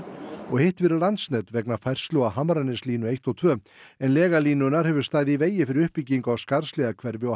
og hitt fyrir Landsnet vegna færslu á Hamraneslínu eins og tveir en lega línunnar hefur staðið í vegi fyrir uppbyggingu á Skarðshlíðarhverfi og